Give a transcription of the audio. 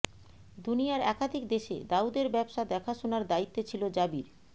দুনিয়ার একাধিক দেশে দাউদের ব্যবসা দেখাশোনার দায়িত্বে ছিল জাবির